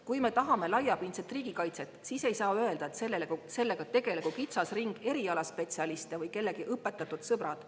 Kui me tahame laiapindset riigikaitset, siis ei saa öelda, et sellega tegelegu kitsas ring erialaspetsialiste või kellegi õpetatud sõbrad.